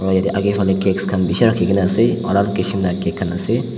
aru yedey agey fali cakes khan bishi rakhi kena ase aru kishim la cake khan ase.